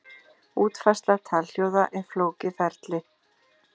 Útfærsla talhljóða er flókið ferli.